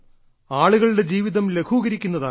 ആളുകളുടെ ജീവിതം ലഘൂകരിക്കുന്നതാകണം